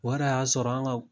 O yɛrɛ y'a sɔrɔ an ka